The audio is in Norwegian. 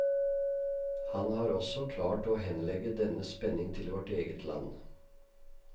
Han har også klart å henlegge denne spenning til vårt eget land.